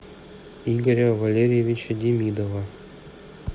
игоря валерьевича демидова